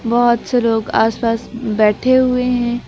बहुत से लोग आस पास बैठे हुए हैं।